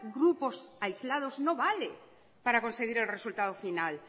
grupos aislados no vale para conseguir el resultado final